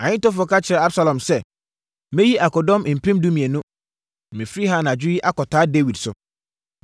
Ahitofel ka kyerɛɛ Absalom sɛ, “Mɛyi akodɔm mpem dumienu, na mafiri ha anadwo yi akɔtaa Dawid so.